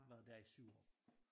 Og været der i 7 år